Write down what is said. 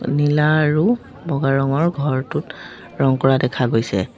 নীলা আৰু বগা ৰঙৰ ঘৰটোত ৰঙ কৰা দেখা গৈছে।